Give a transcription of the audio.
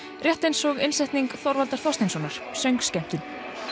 rétt eins og innsetning Þorvaldar Þorsteinssonar söngskemmtun